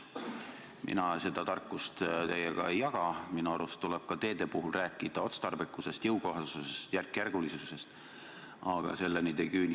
Mina seda tarkust teiega ei jaga, minu arust tuleb ka teede puhul rääkida otstarbekusest, jõukohasusest, järkjärgulisusest, aga selleni te ei küündi.